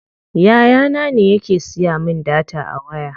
Yaya na ne yake siya min data a waya.